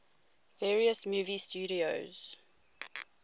various movie studios